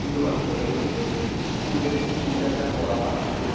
কিন্তু Whatsapp এই হয়েছে। school এর teacher রা পড়া পাঠাতো